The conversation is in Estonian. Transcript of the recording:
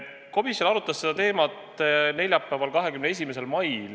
Komisjon arutas seda teemat neljapäeval, 21. mail.